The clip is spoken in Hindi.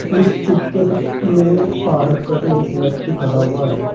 इस चित्र में पहाड़ पर एक व्यक्ति खड़ा हुआ है।